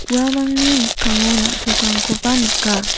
uamangni mikkango na·tokrangkoba nika.